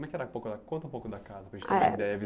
Como é que era. Conta um pouco da casa, para a gente ter uma ideia